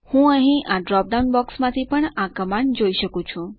હું અહીં આ ડ્રોપ ડાઉન બોક્સ માંથી પણ આ કમાન્ડ જોઈ શકું છું